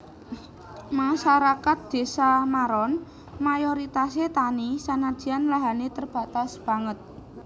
Masarakat Désa Maron mayoritasé tani sanadyan lahané terbatas banget